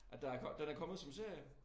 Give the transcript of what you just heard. At der den er kommet som serie